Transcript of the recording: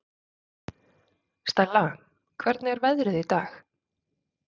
Stella, hvernig er veðrið í dag?